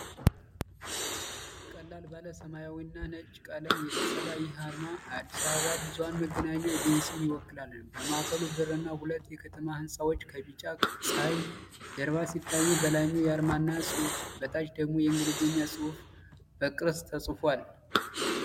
ቀለል ባለ ሰማያዊና ነጭ ቀለም የተሰራ ይህ አርማ የአዲስ አበባ ብዙኃን መገናኛ ኤጀንሲን ይወክላል። በማዕከሉ ብዕርና ሁለት የከተማ ሕንፃዎች ከቢጫ ጸሐይ ጀርባ ሲታዩ፣ በላይኛው የአማርኛ ጽሑፍ፣ በታች ደግሞ የእንግሊዝኛ ጽሑፍ በክብ ቅርጽ ተጽፏል።